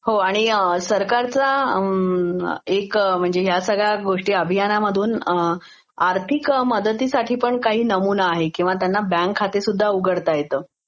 हो आणि सरकारचा एक म्हणेजे ह्या सगळ्या गोष्टी अभियानामधून आर्थिक मदतीसाठीपण काही नमुना आहेकिंवा त्यांना बॅंकखातीसुध्दा उघडता येतं